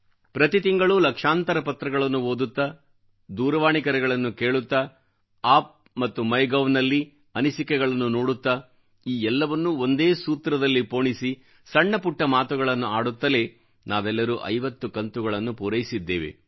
ಪ್ರತಿ ತಿಂಗಳು ಲಕ್ಷಾಂತರ ಪತ್ರಗಳನ್ನು ಓದುತ್ತಾ ದೂರವಾಣಿ ಕರೆಗಳನ್ನು ಕೇಳುತ್ತಾ ಆಪ್ ಮತ್ತು ಮೈ ಗೌ ನಲ್ಲಿ ಅನಿಸಿಕೆಗಳನ್ನು ನೋಡುತ್ತಾ ಈ ಎಲ್ಲವನ್ನೂ ಒಂದು ಸೂತ್ರದಲ್ಲಿ ಪೋಣಿಸಿ ಸಣ್ಣ ಪುಟ್ಟ ಮಾತುಗಳನ್ನು ಆಡುತ್ತಲೇ ನಾವೆಲ್ಲರೂ 50 ಕಂತುಗಳನ್ನು ಪೂರೈಸಿದ್ದೇವೆ